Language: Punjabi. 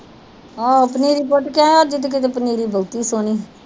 ਆਹੋ ਪਨੀਰੀ ਪੁੱਟ ਕੇ ਆਏ ਅੱਜ ਤੇ ਕਿਤੇ ਪਨੀਰੀ ਬਹੁਤੀ ਸੋਹਣੀ ਹੀ।